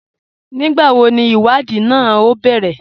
Nígbàwó ní ìwádìí náà o bẹ̀rẹ̀?